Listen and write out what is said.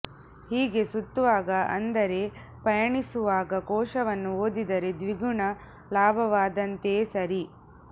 ಹೀಗೆ ಸುತ್ತುವಾಗ ಅಂದರೆ ಪಯಣಿಸುವಾಗ ಕೋಶವನ್ನು ಓದಿದರೆ ದ್ವಿಗುಣ ಲಾಭವಾದಂತೆಯೇ ಸರಿ